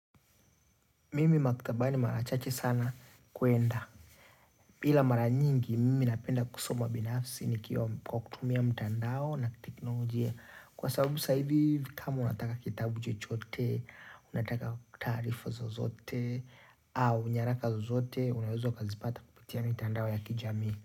Mimi maktabani mara chache sana kuenda. Bila mara nyingi, mimi napenda kusoma binafsi kwa kutumia mtandao na teknolojia. Kwa sababu sasa hivi, kama unataka kitabu chochote, unataka taarifa zozote, au nyaraka zozote, unaweza ukazipata kupitia mitandao ya kijami.